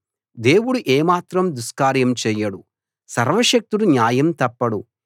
దేవుడు ఏ మాత్రం దుష్కార్యం చేయడు సర్వశక్తుడు న్యాయం తప్పడు